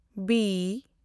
B